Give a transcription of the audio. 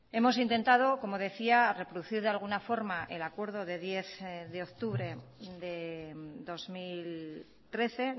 hemos intentado como decía reproducir de alguna forma el acuerdo de diez de octubre de dos mil trece